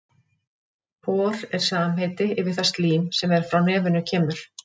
Hor er samheiti yfir það slím er frá nefinu kemur.